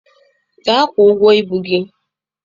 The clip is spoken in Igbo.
Gaa kwụọ ụgwọ ibu gị!